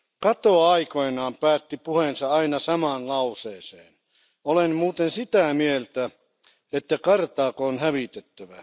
Cato aikoinaan päätti puheensa aina samaan lauseeseen Olen muuten sitä mieltä, että Karthago on hävitettävä.